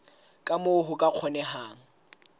ka moo ho ka kgonehang